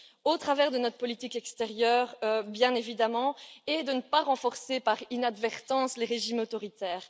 au travers de notre politique extérieure, bien évidemment, et ne pas renforcer par inadvertance les régimes autoritaires.